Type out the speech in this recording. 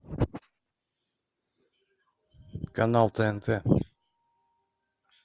канал тнт